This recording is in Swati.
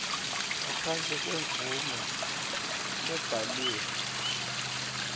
ngaphandle kwemvumo lebhaliwe